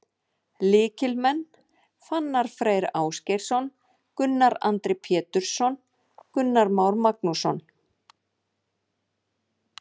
Lykilmenn: Fannar Freyr Ásgeirsson, Gunnar Andri Pétursson, Gunnar Már Magnússon.